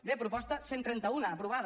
bé proposta cent i trenta un aprovada